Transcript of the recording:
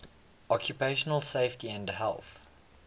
occupational safety and health